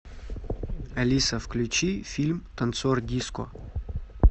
алиса включи фильм танцор диско